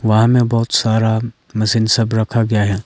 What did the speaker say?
वहां में बहोत सारा मशीन सब रखा गया है।